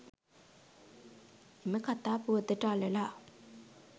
එම කතා පුවතට අළලා